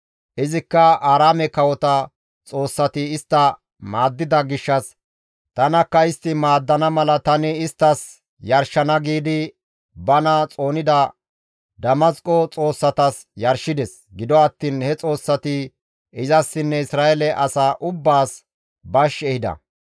Izikka, «Aaraame kawota xoossati istta maaddida gishshas tanakka istta maaddana mala tani isttas yarshana» giidi bana xoonida Damasqo xoossatas yarshides; gido attiin he xoossati izassinne Isra7eele asaa ubbaas bash ehida.